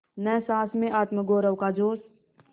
न सास में आत्मगौरव का जोश